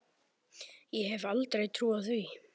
Ég hefði aldrei trúað því.